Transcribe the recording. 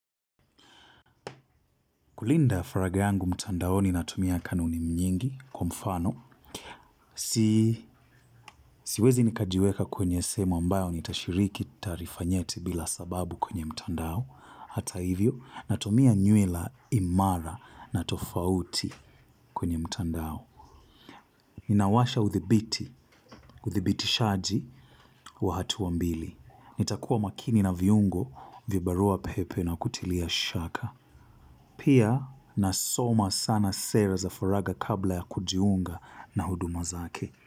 Kulinda faraga yangu mtandaoni natumia kanuni nyingi kwa mfano. Siwezi nikajiweka kwenye sehemu ambayo nitashiriki tarifa nyeti bila sababu kwenye mtandao. Hata hivyo, natumia nywila imara na tofauti kwenye mtandao. Ninawasha udhibitishaji wa hatua mbili. Nitakuwa makini na viungo vya barua pepe na kutilia shaka. Pia nasoma sana sera za faraga kabla ya kujiunga na huduma zake.